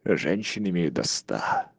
женщин имею до ста